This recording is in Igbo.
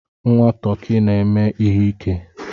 Nwa tọkị na-eme ihe ike.